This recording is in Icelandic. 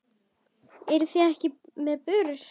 Eruð þið ekki með börur?